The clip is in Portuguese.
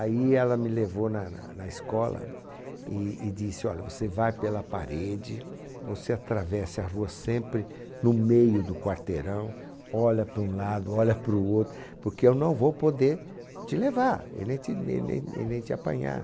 Aí ela me levou na na na escola e e disse, olha, você vai pela parede, você atravesse a rua sempre no meio do quarteirão, olha para um lado, olha para o outro, porque eu não vou poder te levar e nem te e n e n e nem te apanhar.